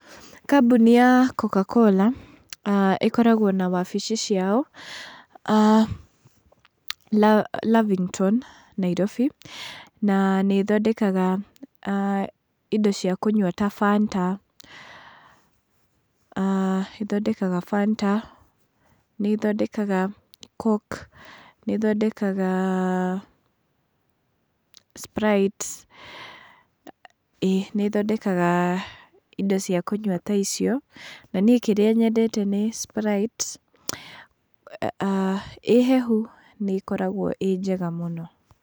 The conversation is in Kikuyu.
Kambuni ya Coca-Cola ĩkoragwo na wabici ciao Lavingto Nairobi, na nĩ ĩthondekaga indo cia kũnyua ta Fanta, ĩthondekaga Fanta, nĩ ĩthondekaga Coke, ĩthondekaga Sprite, ĩĩ nĩ ĩthondekaga indo cia kũnyua ta icio, na niĩ kĩrĩa nyendete nĩ Sprite, ĩ hehu nĩ ĩkoragwo ĩ njega mũno.